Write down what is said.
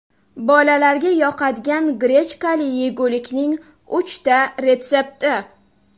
Bolalarga yoqadigan grechkali yegulikning uchta retsepti.